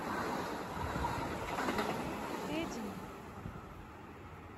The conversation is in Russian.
карине фединой